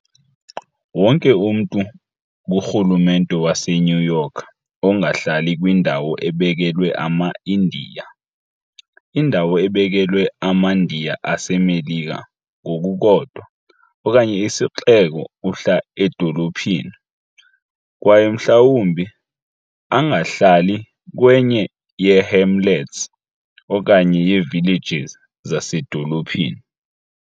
Wonke umntu kurhulumente waseNew York ongahlali kwindawo ebekelwe amaIndiya, indawo ebekelwe amaNdiya aseMelika ngokukodwa, okanye isixeko uhla edolophini, kwaye mhlawumbi angahlali kwenye yeehamlets okanye yeevillages zasedolophini.